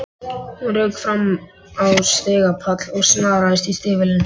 Hún rauk fram á stigapall og snaraðist í stígvélin.